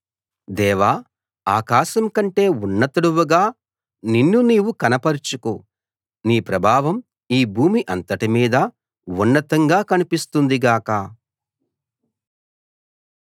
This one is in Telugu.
దేవా ఆకాశం కంటే ఉన్నతుడవుగా నిన్ను నీవు కనపరచుకో నీ ప్రభావం ఈ భూమి అంతటి మీదా ఉన్నతంగా కనిపిస్తుంది గాక